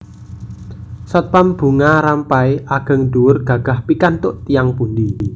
Satpam Bunga Rampai ageng dhuwur gagah pikantuk tiyang pundi